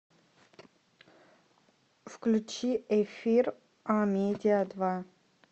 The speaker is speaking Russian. включи эфир амедиа два